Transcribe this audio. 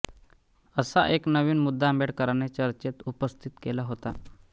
असा एक नवीन मुद्दा आंबेडकरांनी चर्चेत उपस्थित केला होता